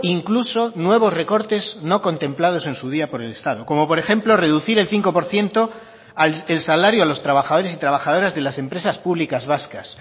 incluso nuevos recortes no contemplados en su día por el estado como por ejemplo reducir el cinco por ciento el salario a los trabajadores y trabajadoras de las empresas públicas vascas